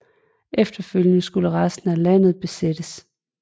Efterfølgende skulle resten af landet besættes